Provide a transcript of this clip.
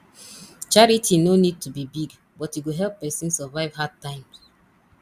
charity no need to be big but e go help person survive hard times